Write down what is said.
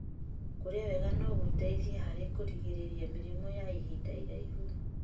Kũrĩa wega no gũteithie harĩ kũgirĩrĩria mĩrimũ ya ihinda iraihu.